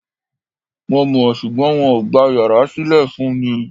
Mo mọ̀, ṣùgbọ́n wọn ò gba yàrá sílè fún mi Ì